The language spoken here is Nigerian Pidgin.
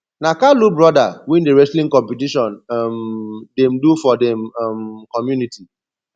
na kalu broda win the wrestling competition um dem do for dem um community